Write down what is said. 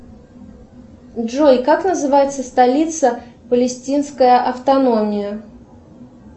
джой как называется столица палестинская автономия